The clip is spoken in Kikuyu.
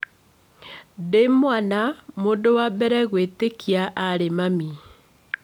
Ndĩ mwana mũndũ wa mbere gwĩtĩkia arĩ mami